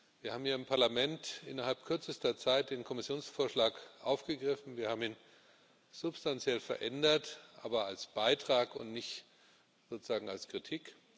Wir haben hier im Parlament innerhalb kürzester Zeit den Kommissionsvorschlag aufgegriffen, wir haben ihn substanziell verändert aber als Beitrag und nicht sozusagen als Kritik.